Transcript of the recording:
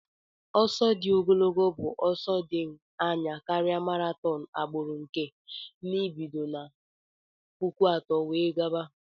Ọsọ di ogolgo bu ọsọ di anya karia marathon agbụrụ nke n'ibido na puku atọ wee gaba.